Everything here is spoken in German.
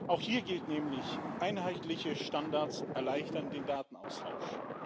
Auch hier gilt nämlich Einheitliche Standards erleichtern den Datenaustausch.